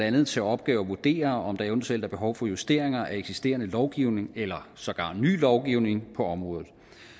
andet til opgave at vurdere om der eventuelt er behov for justeringer af eksisterende lovgivning eller sågar ny lovgivning på området